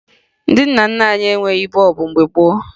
Ndị nna nna anyị enweghi bọọbụ mgbe gboo